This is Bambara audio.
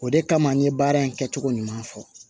O de kama an ye baara in kɛcogo ɲuman fɔ